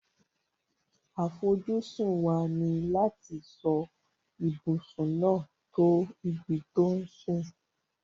Àfojúsùn wa ni láti so ibùsùn náà to ibi to sùn